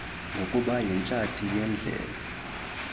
ngokuba yitshati yendlela